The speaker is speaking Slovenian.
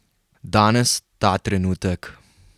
Danes, ta trenutek.